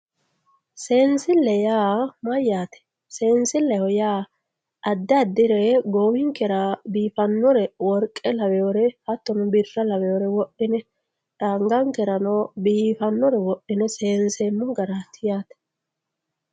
seensilleho yaa mayyate seensilleho yaa addi addire goowinkera biifannore worqe laweere hattono birra laweere wodhine angankereno biifannore wodhine seenseemmo garaati yaate.